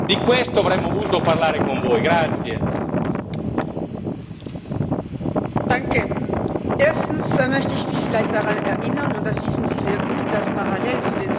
Erstens möchte ich Sie vielleicht daran erinnern und das wissen Sie sehr gut dass parallel zu den Sitzungen des Plenums viele andere Sitzungen stattfinden, an denen unsere Kollegen und Kolleginnen teilnehmen.